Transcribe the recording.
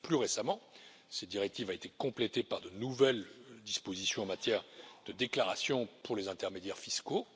Plus récemment, cette directive a été complétée par de nouvelles dispositions en matière de déclaration pour les intermédiaires fiscaux